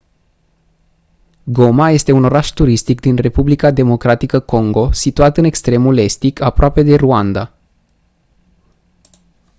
goma este un oraș turistic din republica democratică congo situat în extremul estic aproape de rwanda